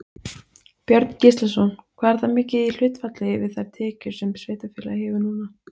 Björn Gíslason: Hvað er það mikið í hlutfalli við þær tekjur sem sveitarfélagið hefur núna?